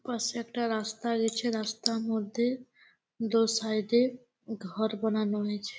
পাশে একটা রাস্তা গেছে রাস্তার মধ্যে দো সাইড এ ঘর বানানো হয়েছে ।